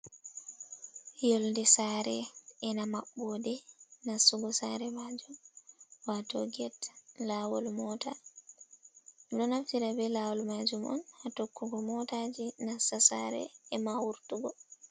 Yolnde saare ena maɓɓoode nastugo saare maajum, waato get laawol, moota ɗo naftira bee laawol maajum on haa tokkugo moota jey nastugo saare e ma wurtugo.